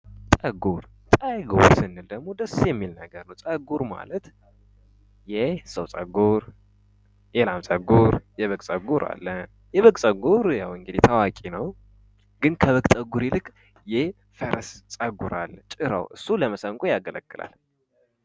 ፀጉር እንግዲህ በጣም ደስ የሚል ነገር ነው ፀጉር ማለት የሰው ፀጉር የለም ጸጉር የበግ ፀጉር አለ የበግ ፀጉር እንግዲህ ታዋቂ ነው። ግን ከበግ ፀጉር ይልቃል የፈረስ ፀጉር ጭራው ለመሰንቆ ያገለግላል።